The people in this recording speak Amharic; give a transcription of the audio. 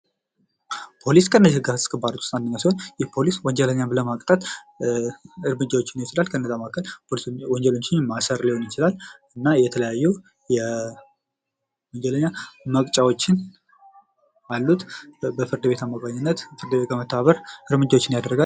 ፖሊስ ከህግ አስከባሪዎች መካከል አንዱ ሲሆን ይህ ፖሊስ ህግን ለማስከበር የተለያዩ እርምጃዎችን ሊወስድ ይችላል ከነዛ መካከል ወንጀለኞችን ማሰር ሊሆን ይችላል ፤ የተለያዩ የወንጀለኛ መቅጫዎች አሉት በፍርድ ቤት አማካኝነት እርምጃዎችን ያደርጋል።